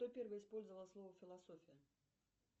кто первый использовал слово философия